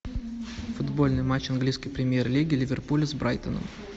футбольный матч английской премьер лиги ливерпуля с брайтоном